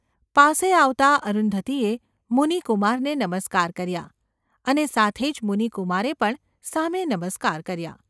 પાસે આવતાં અરુંધતીએ મુનિકુમારને નમસ્કાર કર્યા અને તે સાથે જ મુનિકુમારે પણ સામે નમસ્કાર કર્યા.